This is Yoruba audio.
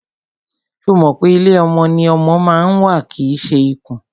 Ṣo mọ̀ pé ilé ọmọ ni ọmọ ma ń wà kìí ṣe ikùn?